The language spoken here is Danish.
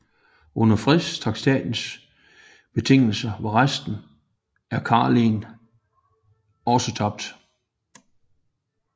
Under fredstraktatens betingelser var resten af Karelen også tabt